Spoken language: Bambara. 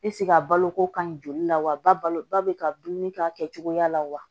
a baloko ka ɲi joli la wa balo ba bɛ ka dumuni kɛ a kɛcogoya la wa